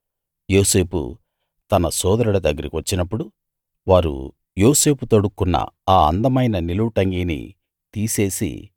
యోసేపు తన సోదరుల దగ్గరికి వచ్చినప్పుడు వారు యోసేపు తొడుక్కొన్న ఆ అందమైన నిలువుటంగీని తీసేసి